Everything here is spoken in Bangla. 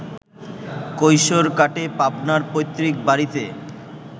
কৈশোর কাটে পাবনার পৈত্রিক বাড়িতে